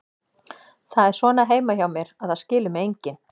Það er svona heima hjá mér, að það skilur mig enginn.